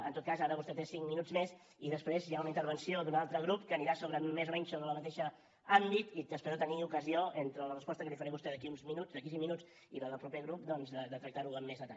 en tot cas ara vostè té cinc minuts més i després hi ha una intervenció d’un altre grup que anirà més o menys sobre el mateix àmbit i espero tenir ocasió entre la resposta que li faré a vostè d’aquí a uns minuts d’aquí a cinc minuts i la del proper grup doncs de tractar ho amb més detall